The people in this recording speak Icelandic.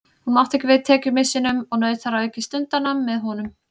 Hún mátti ekki við tekjumissinum og naut þar að auki stundanna með honum.